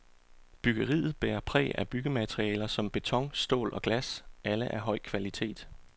Byggeriet bærer præg af byggematerialer som beton, stål og glas, alle af høj kvalitet.